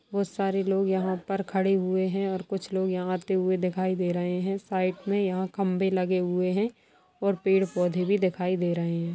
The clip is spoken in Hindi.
बहोत सारे लोग यहाँ पर खड़े हुए हैं और कुछ लोग यहाँ आते हुए दिखाई दे रहे हैं| साइड में यहाँ खम्बे लगे हुए हैं और पेड़-पौधे भी दिखाई दे रहे हैं।